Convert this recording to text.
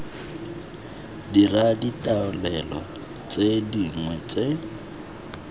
dira ditaolelo tse dingwe tse